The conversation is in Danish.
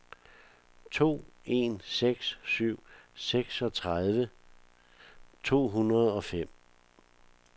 to en seks syv seksogtredive to hundrede og fem